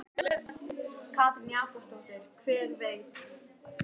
Katrín Jakobsdóttir: Hver veit?